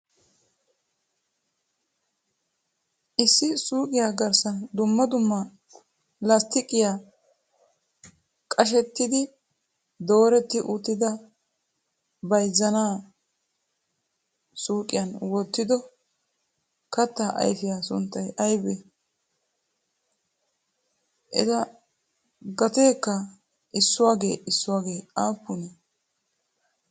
issi suuqiya garssan dumma dumma lasttiqiya qashshettidi dooretti uttida bayzzana suuqiyan wottido katta ayfiya sunttay aybbe? eta gateekka issuwaage issuwagee aappunee?